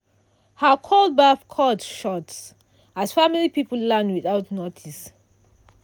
her cold baff cut short as family people land without notice.